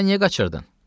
Da niyə qaçırdın?